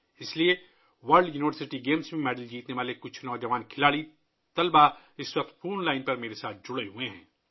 اس لیے کچھ نوجوان کھلاڑی طلباء ، جنہوں نے ورلڈ یونیورسٹی گیمز میں تمغے جیتے ہیں، فی الحال فون لائن پر مجھ سے جڑے ہوئے ہیں